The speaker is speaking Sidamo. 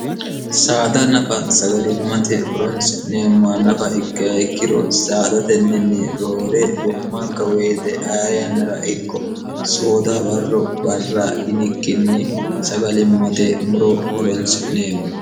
saada nafa sagalimmate horonsi'neemma nafa ikka ikkiro saadatenninni roore wo'manka woyite a yannara ikko soodoha barro barra yinikkinni sagalimmate muro horonsi'neemmo